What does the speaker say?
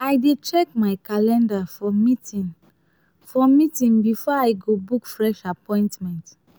i dey check my calendar for meeting for meeting before i go book fresh appointment.